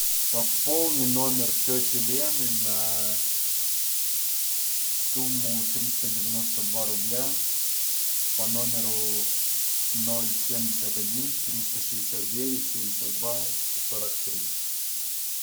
пополни номер тети лены на сумму триста девяносто два рубля по номеру ноль семьдесят один триста шестьдесят девять семьдесят два сорок три